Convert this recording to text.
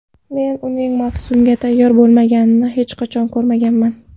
Men uning mavsumga tayyor bo‘lmaganini hech qachon ko‘rmaganman.